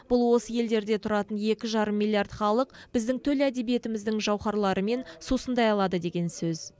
бұл осы елдерде тұратын екі жарым милллиард халық біздің төл әдебиетіміздің жауһарларымен сусындай алады деген сөз